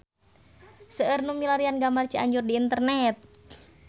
Seueur nu milarian gambar Cianjur di internet